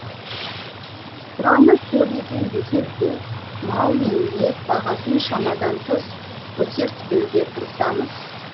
сұраныс көп екен десек те мал мен ет бағасын шамадан тыс көтертпеуге тырысамыз